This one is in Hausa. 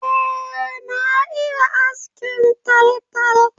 Eh na iya askin taltal